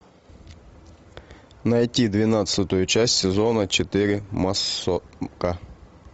найти двенадцатую часть сезона четыре массовка